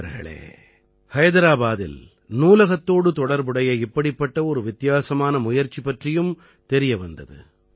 நண்பர்களே ஹைதராபாதிலே நூலகத்தோடு தொடர்புடைய இப்படிப்பட்ட ஒரு வித்தியாசமான முயற்சி பற்றியும் தெரிய வந்தது